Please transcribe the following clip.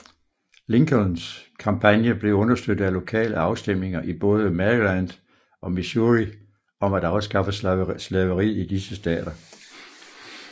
Lincolns kampagne blev understøttet af lokale afstemninger i både Maryland og Missouri om at afskaffe slaveriet i disse stater